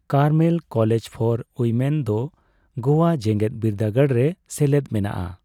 Carmel college for women ᱫᱚ ᱜᱳᱣᱟ ᱡᱮᱸᱜᱮᱫᱵᱤᱨᱫᱟᱹᱜᱟᱲ ᱨᱮ ᱥᱮᱞᱮᱫ ᱢᱮᱱᱟᱜᱼᱟ ᱾